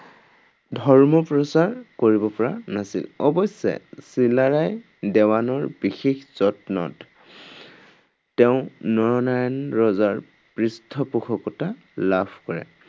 ধৰ্ম প্ৰচাৰ কৰিব পৰা নাছিল। অৱশ্যে চিলাৰায় দেৱানৰ বিশেষ যত্নত তেওঁ নৰনাৰায়ণ ৰজাৰ পৃষ্ঠপোষকতা লাভ কৰে।